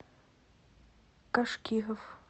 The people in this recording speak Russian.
кашкиров